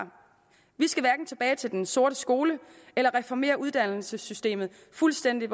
vi skal hverken tilbage til den sorte skole eller reformere uddannelsessystemet fuldstændig